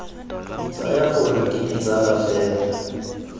tsaya gore ke ditsala fela